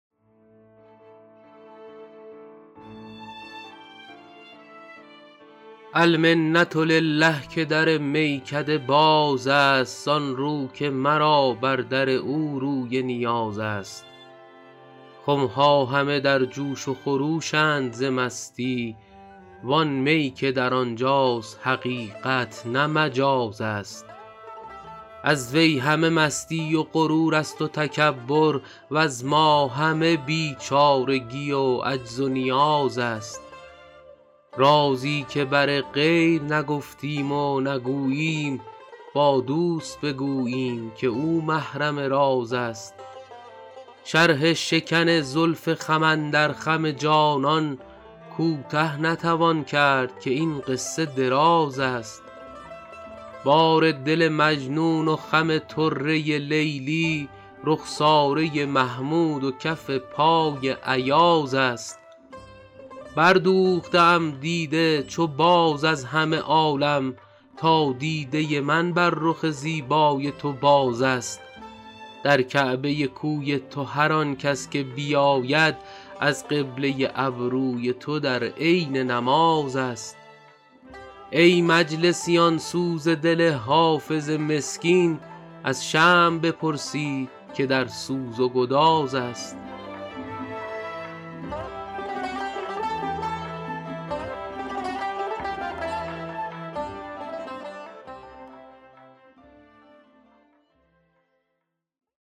المنة لله که در میکده باز است زان رو که مرا بر در او روی نیاز است خم ها همه در جوش و خروش اند ز مستی وان می که در آن جاست حقیقت نه مجاز است از وی همه مستی و غرور است و تکبر وز ما همه بیچارگی و عجز و نیاز است رازی که بر غیر نگفتیم و نگوییم با دوست بگوییم که او محرم راز است شرح شکن زلف خم اندر خم جانان کوته نتوان کرد که این قصه دراز است بار دل مجنون و خم طره لیلی رخساره محمود و کف پای ایاز است بردوخته ام دیده چو باز از همه عالم تا دیده من بر رخ زیبای تو باز است در کعبه کوی تو هر آن کس که بیاید از قبله ابروی تو در عین نماز است ای مجلسیان سوز دل حافظ مسکین از شمع بپرسید که در سوز و گداز است